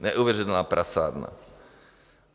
Neuvěřitelná prasárna!